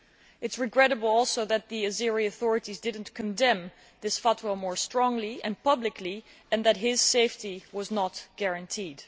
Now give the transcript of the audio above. It is regrettable also that the Azerbaijani authorities did not condemn this fatwa more strongly and publicly, and that his safety was not guarnteed.